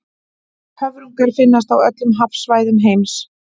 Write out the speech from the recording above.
höfrungar finnast á öllum hafsvæðum heims